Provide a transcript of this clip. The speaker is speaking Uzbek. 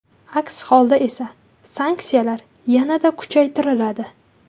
Aks holda esa sanksiyalar yanada kuchaytiriladi.